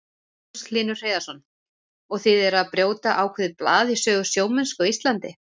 Magnús Hlynur Hreiðarsson: Og þið eruð að brjóta ákveðið blað í sögu sjómennsku á Íslandi?